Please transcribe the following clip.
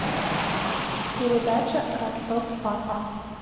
передача ростов папа